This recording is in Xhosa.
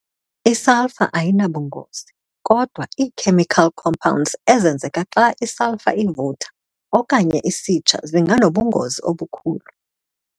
I-Sulphur ayinabungozi, kodwa ii-chemical compounds ezenzeka xa isulphur ivutha okanye isitsha zinganobungozi obukhulu.